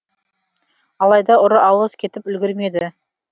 алайда ұры алыс кетіп үлгермеді